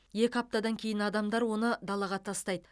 екі аптадан кейін адамдар оны далаға тастайды